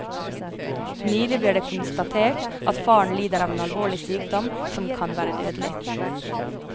Nylig ble det konstatert at faren lider av en alvorlig sykdom som kan være dødelig.